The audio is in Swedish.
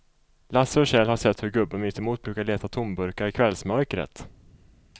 Lasse och Kjell har sett hur gubben mittemot brukar leta tomburkar i kvällsmörkret.